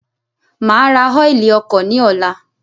Maa ra ọ́ilì ọkọ̀ ni ọ̀la